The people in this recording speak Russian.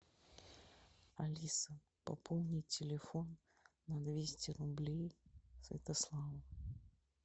алиса пополни телефон на двести рублей святославу